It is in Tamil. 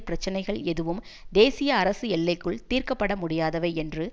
பிரச்சினைகள் எதுவும் தேசிய அரசு எல்லைக்குள் தீர்க்க பட முடியாதவை என்று